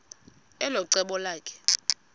elo cebo lakhe